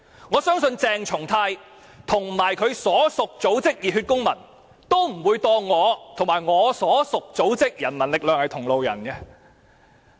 我相信鄭松泰議員和他的所屬組織熱血公民，都不會把我和我的所屬組織人民力量視作同路人。